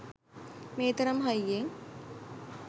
මේ තරම් හයියෙන්